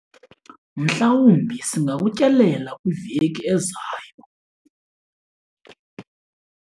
Mhlawumbi singakutyelela kwiveki ezayo.